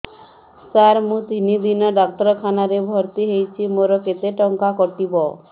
ସାର ମୁ ତିନି ଦିନ ଡାକ୍ତରଖାନା ରେ ଭର୍ତି ହେଇଛି ମୋର କେତେ ଟଙ୍କା କଟିବ